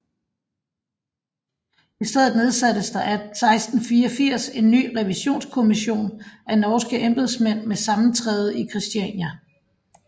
I stedet nedsattes der 1684 en ny revisionskommission af norske embedsmænd med sammentræde i Kristiania